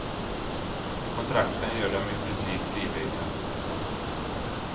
Kontrakten gör dem i princip livegna. punkt